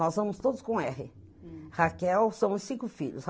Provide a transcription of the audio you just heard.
Nós vamos todos com erre. Raquel, são os cinco filhos.